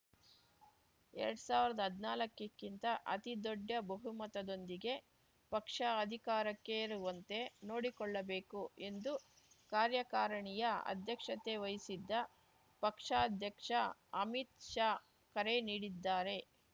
ಎರಡ್ ಸಾವ್ರ್ದಾ ಹದ್ನಾಕಕ್ಕಿಂತ ಅತಿದೊಡ್ಡ ಬಹುಮತದೊಂದಿಗೆ ಪಕ್ಷ ಅಧಿಕಾರಕ್ಕೇರುವಂತೆ ನೋಡಿಕೊಳ್ಳಬೇಕು ಎಂದು ಕಾರ್ಯಕಾರಿಣಿಯ ಅಧ್ಯಕ್ಷತೆ ವಹಿಸಿದ್ದ ಪಕ್ಷಾಧ್ಯಕ್ಷ ಅಮಿತ್‌ ಶಾ ಕರೆ ನೀಡಿದ್ದಾರೆ